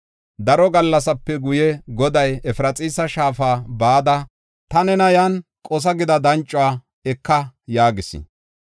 Daro gallasape guye Goday, “Efraxiisa shaafa bada, ta nena, ‘Yan qosa’ gida dancuwa eka” yaagis.